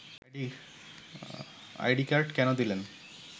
ID card কেন দিলেন